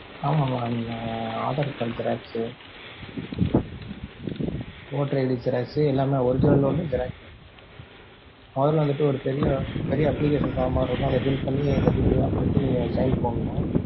ஆமா mam உங்க aadhar card xerox சு voter ID xerox எல்லாமே original ஒன்னு xerox ஒன்னு முதல்ல வந்துட்டு ஒரு பெரிய, பெரிய application form மாதிரி இருக்கும் அத fill பண்ணி அந்த details லா fill பண்ணி நீங்க ஒரு sign போடணும்.